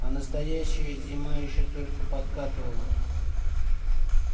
а настоящая зима ещё только подкатывала